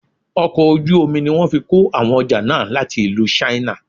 Ọkọ̀ ojú omi ní wọ́n fí kó àwọn ọjà náà láti ìlú china.